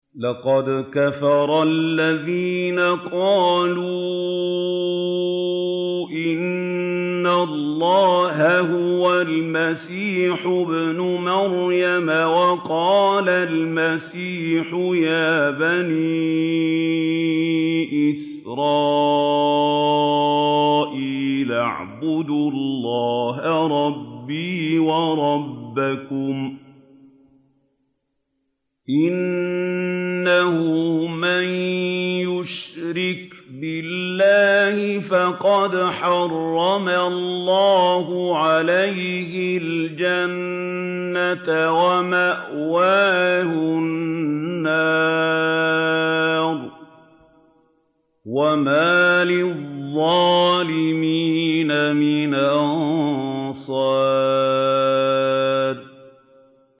لَقَدْ كَفَرَ الَّذِينَ قَالُوا إِنَّ اللَّهَ هُوَ الْمَسِيحُ ابْنُ مَرْيَمَ ۖ وَقَالَ الْمَسِيحُ يَا بَنِي إِسْرَائِيلَ اعْبُدُوا اللَّهَ رَبِّي وَرَبَّكُمْ ۖ إِنَّهُ مَن يُشْرِكْ بِاللَّهِ فَقَدْ حَرَّمَ اللَّهُ عَلَيْهِ الْجَنَّةَ وَمَأْوَاهُ النَّارُ ۖ وَمَا لِلظَّالِمِينَ مِنْ أَنصَارٍ